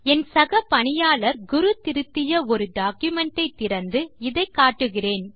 என் சக பணியாளர் குரு திருத்திய ஒரு டாக்குமென்ட் ஐ திறந்து இதை காட்டுகிறேன்